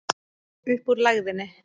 Upp úr lægðinni